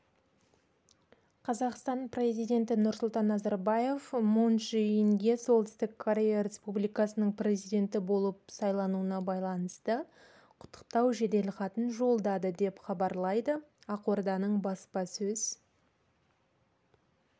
қазақстан президенті нұрсұлтан назарбаев мун чже инге оңтүстік корея республикасының президенті болып сайлануына байланысты құттықтау жеделхатын жолдады деп хабарлайды ақорданың баспасөз